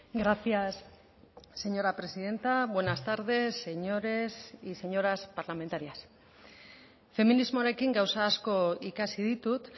gracias señora presidenta buenas tardes señores y señoras parlamentarias feminismoarekin gauza asko ikasi ditut